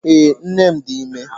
ee, nnem di ime.